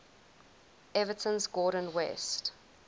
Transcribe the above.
everton's gordon west